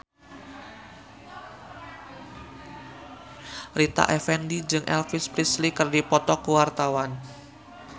Rita Effendy jeung Elvis Presley keur dipoto ku wartawan